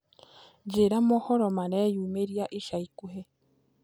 njĩĩra mohoro mareyũmiria ĩca ĩkũhĩ